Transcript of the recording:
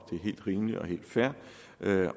er helt rimeligt og helt fair